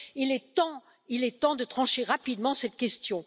Il est temps de trancher rapidement cette question.